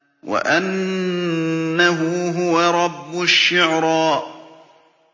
وَأَنَّهُ هُوَ رَبُّ الشِّعْرَىٰ